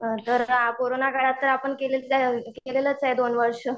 corona काळात तर आपण केलेलंच आहे दोन वर्ष